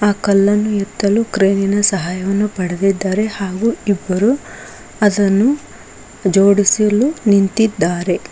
ಆ ಕಲ್ಲನ್ನು ಎತ್ತಲು ಕ್ರೇನಿನ ಸಾಯ ಪಡೆದಿದ್ದಾರೆ ಹಾಗು ಇಬ್ಬರು ಅದನ್ನು ಜೋಡಿಸಲು ನಿಂತಿದ್ದಾರೆ.